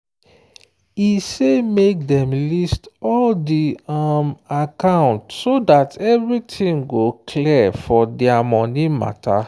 e say make them list all di um account so that everything go clear for their money matter.